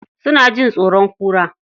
Suna jin tsoron kura.